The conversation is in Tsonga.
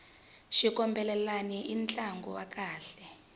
xitumbelelani i ntlangu wa kahle